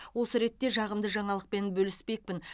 осы ретте жағымды жаңалықпен бөліспекпін